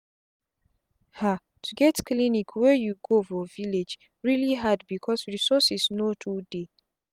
hato get clinic wey you go for village really hard because resources no too dey.